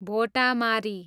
Bhotamari